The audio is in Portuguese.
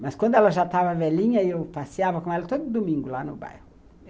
Mas quando ela já estava velhinha, eu passeava com ela todo domingo lá no bairro.